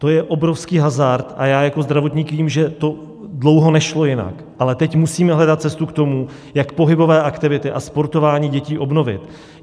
To je obrovský hazard a já jako zdravotník vím, že to dlouho nešlo jinak, ale teď musíme hledat cestu k tomu, jak pohybové aktivity a sportování dětí obnovit.